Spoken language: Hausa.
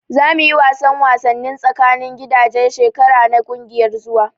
Za mu yi wasan wasanni tsakanin gidaje shekara na kungiyar zuwa.